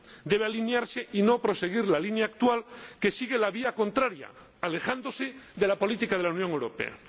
Debe alinearse y no proseguir la línea actual, que sigue la vía contraria, alejándose de la política de la Unión Europea.